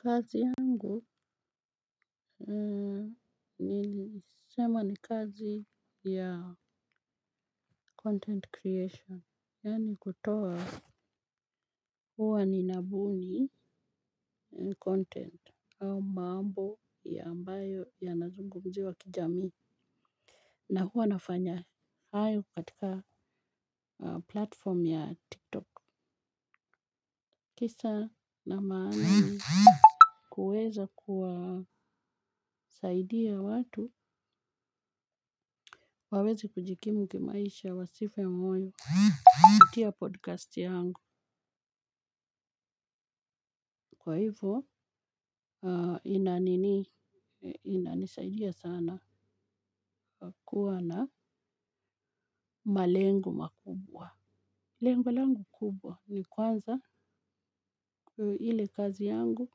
Kazi yangu nilisema ni kazi ya content creation yaani kutoa huwa ninabuni content au maambo ya ambayo yanazungumziwa kijamii na huwa nafanya hayo katika platform ya TikTok. Kisa na maana ni kuweza kuwasaidia watu waweze kujikimu kimaisha wasife moyo kupitia podcast yangu. Kwa hivo ina nini inanisaidia sana kwa kuwa na malengo makubwa. Lengo langu kubwa. Ni kwanza ile kazi yangu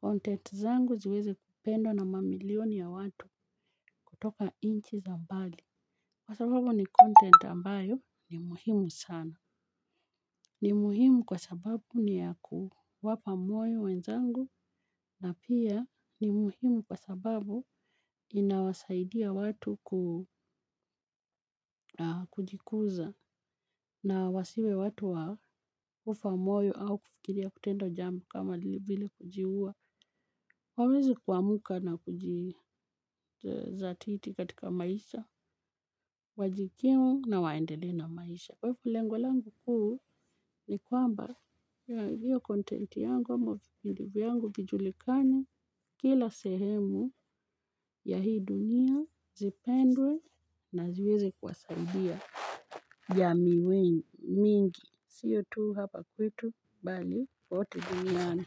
Content zangu ziweze kupendwa na mamilioni ya watu kutoka inchi za mbali. Kwa sababu ni content ambayo ni muhimu sana ni muhimu kwa sababu ni ya kuwapa moyo wenzangu na pia ni muhimu kwa sababu inawasaidia watu ku kujikuza. Na wasiwe watu wa kufa moyo au kukiria kutendo jambo kama vile kujiua. Waweze kuamka na kujizatiti katika maisha, wajikimu na waendelee na maisha. Kwa hivyo lengolangu kuu ni kwamba ya hiyo contenti yangu, ama shughuli vyangu, vijulikane kila sehemu ya hii dunia, zipendwe na ziwezi kuwasaidia jamii mingi. Siyo tuu hapa kwetu bali kote duniyani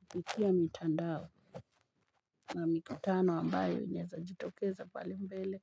kupikia mitandao na mikutano ambayo inaeza jitokeza palembele.